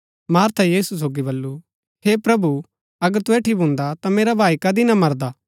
मार्था यीशु सोगी बल्लू हे प्रभु अगर तु ऐठी भून्दा ता मेरा भाई कदी भी ना मरदा